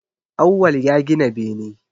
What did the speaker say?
Awwal ya gina bene